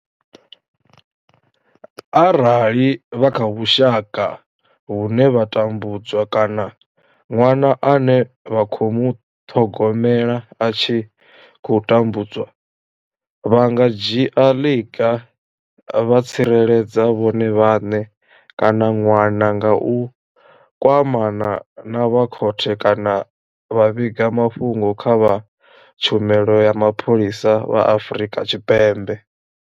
Arali vha kha vhusha ka vhune vha tambudzwa kana ṅwana ane vha khou muṱhogomela a tshi khou tambudzwa, vha nga dzhia ḽiga vha tsireledza vhone vhaṋe kana ṅwana nga u kwamana na vha khothe kana vha vhiga mafhungo kha vha Tshumelo ya Mapholisa vha Afrika Tshipembe.